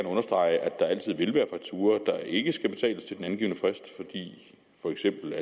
understrege at der altid vil være fakturaer der ikke skal betales til den angivne frist for eksempel